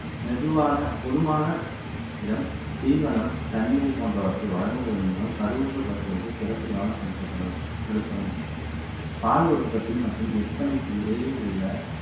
மெதுவான பொதுவான இடம் தீவனம் தண்ணீர் போன்றவற்றை வழங்குவதன் மூலம் கருவுற்ற பசுக்களுக்கு சிறப்பு கவனம் செலுத்தப்படும் செலுத்தவும் பால் உற்பத்தி மற்றும் விற்பனைக்கு இடையே உள்ள